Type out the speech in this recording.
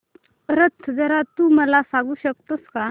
रथ जत्रा तू मला सांगू शकतो का